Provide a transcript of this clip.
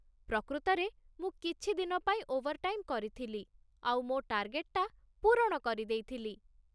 ପ୍ରକୃତରେ ମୁଁ କିଛି ଦିନ ପାଇଁ ଓଭର୍‌ଟାଇମ୍ କରିଥିଲି ଆଉ ମୋ ଟାର୍ଗେଟ୍‌ଟା ପୂରଣ କରିଦେଇଥିଲି ।